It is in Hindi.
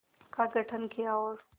का गठन किया और